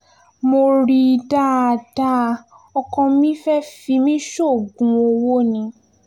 mo rí i dáadáa ọkọ mi fẹ́ẹ́ fi mí sóògùn owó ni